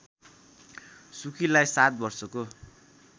सुकीलाई सात वर्षको